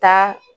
Taa